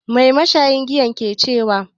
Mai mashayin giyan ke cewa?